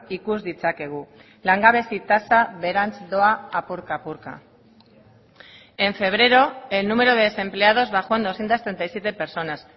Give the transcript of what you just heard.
ikus ditzakegu langabezi tasa beherantz doa apurka apurka en febrero el número de desempleados bajó en doscientos treinta y siete personas